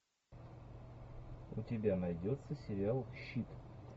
у тебя найдется сериал щит